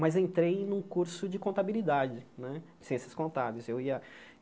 mas entrei num curso de contabilidade né, ciências contábeis. Eu ia